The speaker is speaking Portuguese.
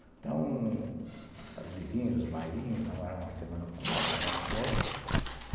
Então, as vizinhas, os bailinhos, namoravam uma semana com outra, semana com outra.